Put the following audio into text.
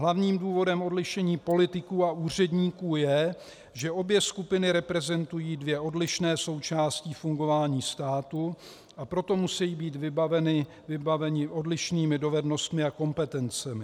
Hlavním důvodem odlišení politiků a úředníků je, že obě skupiny reprezentují dvě odlišné součásti fungování státu, a proto musejí být vybaveni odlišnými dovednostmi a kompetencemi.